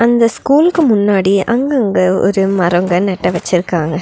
இந்த ஸ்கூலுக்கு முன்னாடி அங்கங்க ஒரு மரங்க நட்ட வச்சிருக்காங்க.